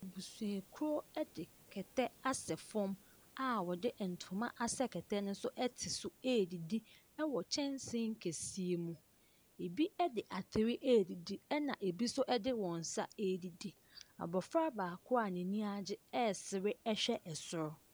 Busua kuo edi kɛtɛ asɛ fɔm a wɔde ntoma asɛ kɛtɛ ne so ɛte so adidi ɛwɔ kyensee kɛseɛ so. Ebi ɛde ateri adidi ɛna ebi nso ɛde wɔnsa adidi. Abofra baako a n'ani agye ɛsere ɛhwɛ ɛsoro.